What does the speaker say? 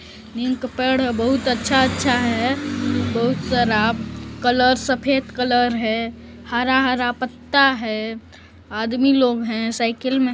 नीम का पेड़ बहुत अच्छा अच्छा है बहुत सारा कलर सफेद कलर है हरा-हरा पत्ता है आदमी लोग है साइकिल में--